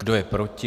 Kdo je proti?